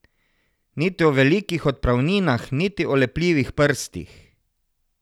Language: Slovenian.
Niti o velikih odpravninah niti o lepljivih prstih!